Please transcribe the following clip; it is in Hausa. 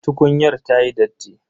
Tukunyar ta yi datti.